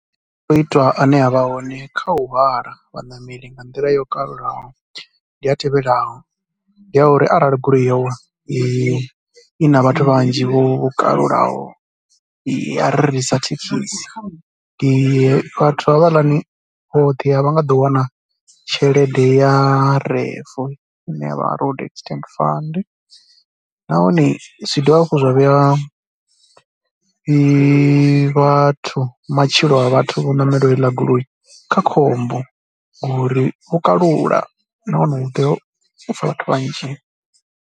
Masiandoitwa ane a vha hone kha u hwala vhanameli nga nḓila yo kalulaho ndi a tevhelaho, ndi ya uri arali goloi yo i na vhathu vhanzhi vho kalulaho ya ri sa thekhisi ndi, vhathu havhaḽani vhoṱhe a vha nga ḓo wana tshelede ya RAF i ne ya vha Road Accident Funds nahone zwi dovha hafhu zwa vhea vhathu matshilo, a vhathu vho ṋamelaho heila goloi kha khombo ngoriwo kalula na wana u tea u pfha vhathu vhanzhi.